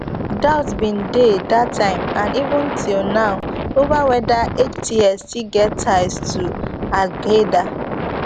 doubts bin dey dat time and even till now ova weda hts still get ties to alqaeda